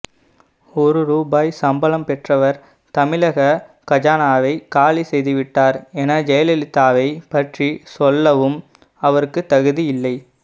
ஒரு ரூபாய் சம்பளம் பெற்றவர் தமிழக கஜானாவை காலிசெய்துவிட்டார் என ஜெயலலிதாவை பற்றி சொல்லவும் அவருக்கு தகுதி இல்லை